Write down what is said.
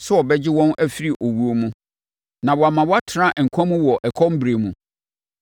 sɛ ɔbɛgye wɔn afiri owuo mu na wama wɔatena nkwa mu wɔ ɛkɔm berɛ mu.